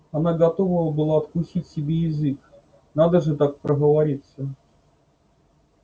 она готова была откусить себе язык надо же так проговориться